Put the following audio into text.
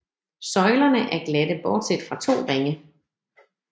Søjlerne er glatte bortset fra to ringe